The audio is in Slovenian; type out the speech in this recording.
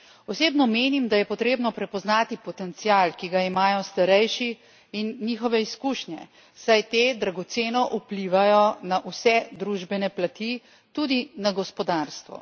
Osebno menim, da je potrebno prepoznati potencial, ki ga imajo starejši, in njihove izkušnje, saj te dragoceno vplivajo na vse družbene plati, tudi na gospodarstvo.